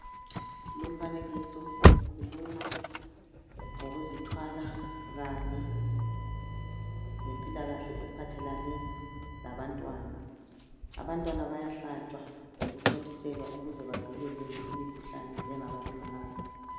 Lumfanekiso ukhuluma ngokuzithwala kanye lempilakahle ephathelane labantwana. Abantwana bayahlatshwa lokuthontiselwa ukuze bavikeleke emkhuhlaneni engabalimaza.